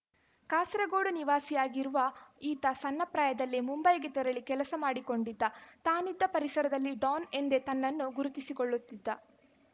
ಕಾಸರಗೋಡು ನಿವಾಸಿಯಾಗಿರುವ ಈತ ಸಣ್ಣ ಪ್ರಾಯದಲ್ಲೇ ಮುಂಬೈಗೆ ತೆರಳಿ ಕೆಲಸ ಮಾಡಿಕೊಂಡಿದ್ದ ತಾನಿದ್ದ ಪರಿಸರದಲ್ಲಿ ಡೋನ್‌ ಎಂದೇ ತನ್ನನ್ನು ಗುರುತಿಸಿಕೊಳ್ಳುತ್ತಿದ್ದ